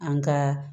An ka